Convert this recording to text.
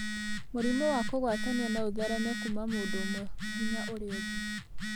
Mũrimũ wa kũgwatanio no ũthereme kuuma mũndũ ũmwe nginya ũrĩa ũngĩ.